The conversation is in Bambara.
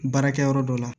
Baarakɛyɔrɔ dɔ la